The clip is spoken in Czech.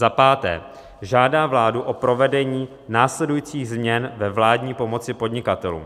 "Za páté žádá vládu o provedení následujících změn ve vládní pomoci podnikatelům."